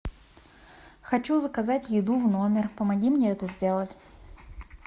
хочу заказать еду в номер помоги мне это сделать